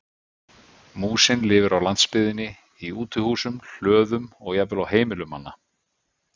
Músin lifir á landsbyggðinni í útihúsum, hlöðum og jafnvel á heimilum manna.